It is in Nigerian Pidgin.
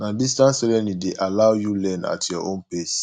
na distance learning dey allow you learn at your own pace